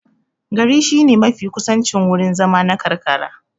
Gari shine mafi kusancin wurin zama na karkara.